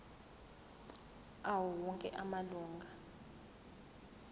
awo onke amalunga